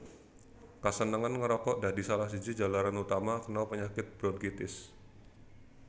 Kasenengan ngrokok dadi salah siji jalaran utaman kena penyakit bronkitis